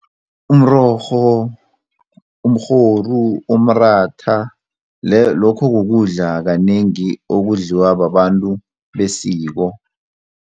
Umrorho, umrhoru, umratha lokho kukudla kanengi okudliwa babantu besiko.